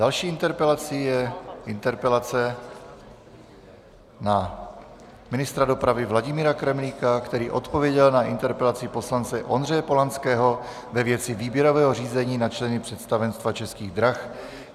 Další interpelací je interpelace na ministra dopravy Vladimíra Kremlíka, který odpověděl na interpelaci poslance Ondřeje Polanského ve věci výběrového řízení na členy představenstva Českých drah.